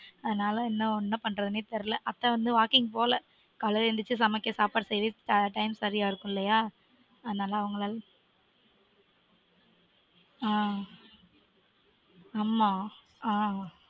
அதனால இன்னும் என்ன பண்றதுனே தெரியல. அத்தை வந்து walking போகல. காலைல எழுந்திரிச்சு சமைக்க சாப்பாடு செய்யவே time சரியா இருக்கும் இல்லையா? அதனால அவங்களால. அஹ் ஆம்மா ஆஹ்